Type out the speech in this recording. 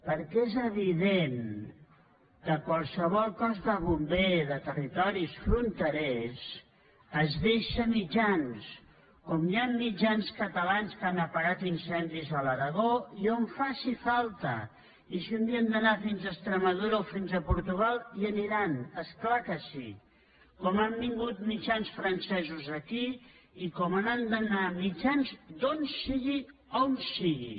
perquè és evident que qualsevol cos de bombers de territoris fronterers es deixa mitjans com hi han mitjans catalans que han apagat incendis a l’aragó i on faci falta i si un dia han d’anar fins a extremadura o fins a portugal hi aniran és clar que sí com han vingut mitjans francesos aquí i com han d’anar mitjans d’on sigui a on sigui